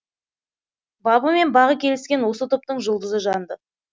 бабы мен бағы келіскен осы топтың жұлдызы жанды